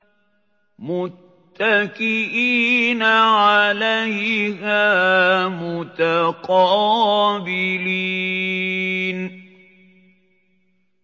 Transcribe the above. مُّتَّكِئِينَ عَلَيْهَا مُتَقَابِلِينَ